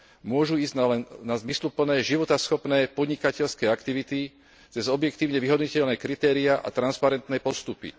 Môžu ísť len na zmysluplné životaschopné podnikateľské aktivity cez objektívne vyhodnotiteľné kritéria a transparentné postupy.